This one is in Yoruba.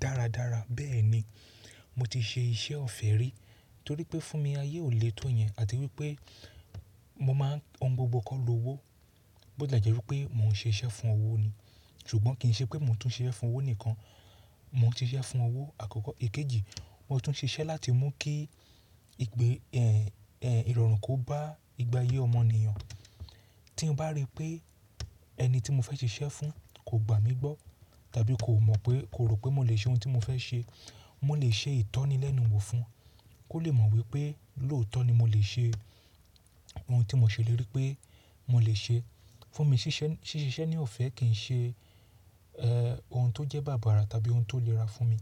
Dáradára. Bẹ́ẹ̀ ni. Mo ti ṣe iṣẹ́ ọ̀fẹ́ rí torí pé fún mi ayé ò lé tó yẹn àti wípé mo máa ń ohun gbogbo kọ́ lo owó. Bó tilẹ jẹ́ wípé mò ń ṣe iṣẹ́ fún owó ni, ṣùgbọ́n kì í ṣe pé mò tún ṣe iṣẹ́ fún owó nìkan, mò ń ṣe iṣẹ́ fún owó àkọ́kọ́. Èkejì, mò tún ṣe iṣẹ́ láti mú kí ìgbè ẹ́, ẹ́, ìrọ̀rùn kó bá ìgbà ayé ọmọnìyàn. Tí mo bá rí pé ẹni tí mo fẹ́ ṣe iṣẹ́ fún kò gbà mí gbọ́ tàbí kò mọ̀ pé, kò rò pé mo lè ṣe ohun tí mo fẹ́ ṣe, mo lè ṣe ìtọ́ni lẹ́nu wò fún, kó lè mọ̀ wípé lóòótọ́ ni mo lè ṣe ohun tí mò ṣèlérí pé mo lè ṣe. Fún mi ṣíṣe, ṣíṣe iṣẹ́ ní ọ̀fẹ́ kì í ṣe, ẹ́, ohun tó jẹ́ bá bára tàbí ohun tó lè ra fún mi.